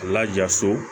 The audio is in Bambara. A laja so